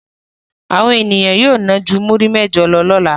Àwọn ènìyàn yóò ná ju múrí méjì lọ lọ́la.